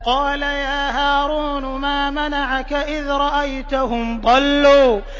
قَالَ يَا هَارُونُ مَا مَنَعَكَ إِذْ رَأَيْتَهُمْ ضَلُّوا